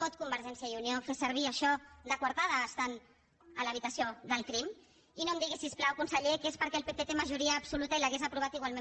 pot convergència i unió fer servir això de coartada estant a l’habitació del crim i no em digui si us plau conseller que és perquè el pp té majoria absoluta i l’hauria aprovat igualment